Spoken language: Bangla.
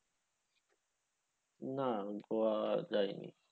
না গোয়া যাইনি।